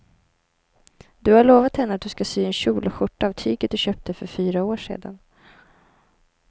Du har lovat henne att du ska sy en kjol och skjorta av tyget du köpte för fyra år sedan.